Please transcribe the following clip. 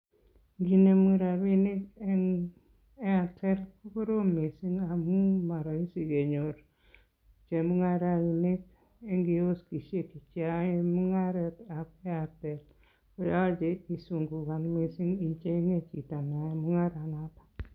Inginemu rabinik en Airtel ko koroom missing ngamun moroisi kenyor chemungarainik en kioskisiek cheyoe mungaretab Airtel koyoche isungukan missing ichenge chito neyoe mungaranotook